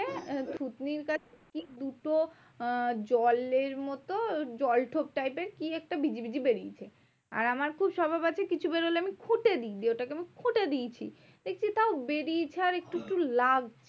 আহ থুতনির কাছে দুটো আহ জলের মতো জল ঠোঁট type এর কি একটা বিজিবিজি বেরিয়েছে? আর আমার খুব স্বভাব আছে কিছু বেরোলে আমি খুঁটে দিই। ওটাকে আমি খুঁটে দিয়েছি। দেখছি তাও বেরিয়েছে আর একটু একটু লাগছে।